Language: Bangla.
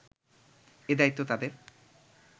এ-দায়িত্ব তাদের